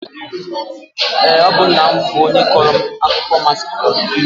Ọ bụ nna m bụ onye kọọrọ m akụkọ masịrị m nke ukwuu